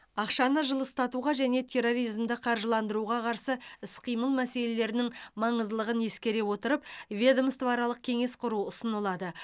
ақшаны жылыстатуға және терроризмді қаржыландыруға қарсы іс қимыл мәселелерінің маңыздылығын ескере отырып ведомствоаралық кеңес құру ұсынылады